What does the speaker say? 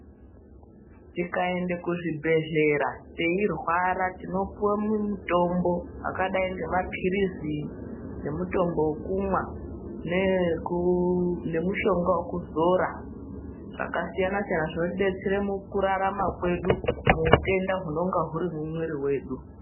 Tikaende kuzvibhedhlera teirwara tinopuwa mitombo akadai nemapirizi nemutombo wekumwa nemushonga wekuzora zvakasiyana siyana zvinotidetsere mukurarama kwedu muutenda hwunenge huri mumwiri wedu.